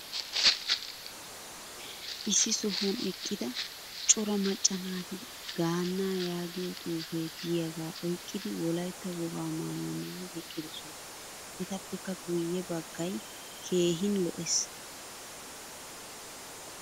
Issi sohuwan eqqida cora macca naati gaannaa yaagiyaa xuufe diyaga oyqqidi wolaytta wogaa naayuwaa maayidi eqqidosona. Etappekka guye baggaay keehin lo'ees.